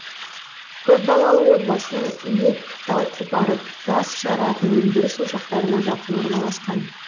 көпбалалы отбасының үйі тау қопарып тас жаратын өндіріс ошақтарына жақын орналасқан